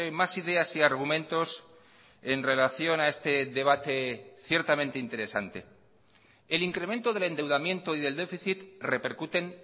más ideas y argumentos en relación a este debate ciertamente interesante el incremento del endeudamiento y del déficit repercuten